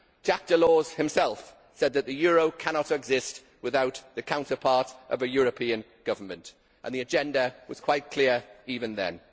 Jacques Delors himself said that the euro could not exist without the counterpart of a European Government, and the agenda was quite clear even then.